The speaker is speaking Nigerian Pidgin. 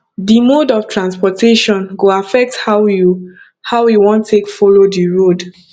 di mode of transportation go affect how you how you wan take follow di road